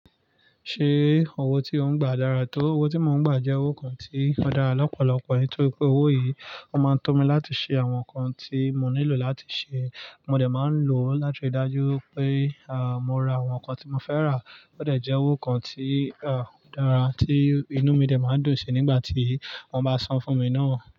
Ṣé owó tí ò ń gbà dára tó? Owó tí mò ń gbà jẹ́ owó kan tí o dára lọ́pọ̀lọpọ̀ nítorí pé owó yìí ó máa ń to mi láti ṣe àwọn nǹkan tí mò nílò láti ṣe. Mo dẹ̀ máa ń lo ọ́ láti ri dájú wi pé, mo ra àwọn nǹkan tí mo fẹ́ rà. Ó dẹ̀ jẹ́ owó kan tí, o dára tí inú mi dẹ̀ máa dùn sí nígbà tí wọ́n bá san fún mi náà.